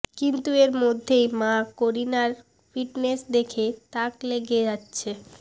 কিন্তু এর মধ্যেই মা করিনার ফিটনেস দেখে তাক লেগে যাচ্ছে